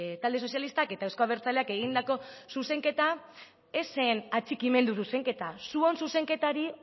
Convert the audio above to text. talde sozialistak eta euzko abertzaleak egindako zuzenketa ez zen atxikimendu zuzenketa zuon zuzenketari